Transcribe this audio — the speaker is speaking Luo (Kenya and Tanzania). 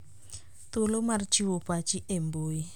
Thuolo mar chiwo pachi e mbui.